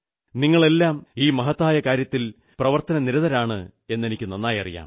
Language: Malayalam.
നിങ്ങളെല്ലാം ഈ മഹത്തായ കാര്യത്തിൽ പ്രവർത്തനനിരതരാണെന്ന് എനിക്കു നന്നായി അറിയാം